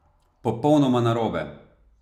Popolnoma narobe!